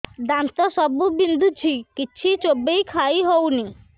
ଦାନ୍ତ ସବୁ ବିନ୍ଧୁଛି କିଛି ଚୋବେଇ ଖାଇ ହଉନି